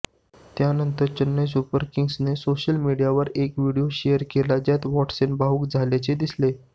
त्यानंतर चेन्नई सुपर किंग्जने सोशल मीडियावर एक व्हिडिओ शेअर केला ज्यात वॉट्सन भावूक झाल्याचे दिसले